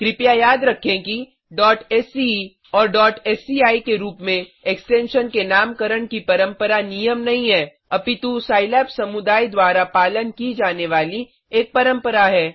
कृपया याद रखें कि sce एंड sci के रूप में एक्सटेंशन के नामकरण की परंपरा नियम नहीं हैं अपितु सिलाब समुदाय द्वारा पालन की जाने वाली एक परंपरा है